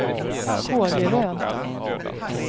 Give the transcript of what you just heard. Kågeröd